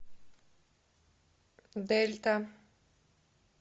дельта